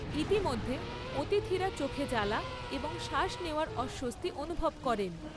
ইতিমধ্যে, অতিথিরা চোখে জ্বালা এবং শ্বাস নেওয়ার অস্বস্তি অনুভব করেন।